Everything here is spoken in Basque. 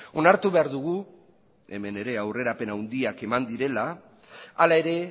onartu behar dugu hemen ere aurrerapen handiak eman direla hala ere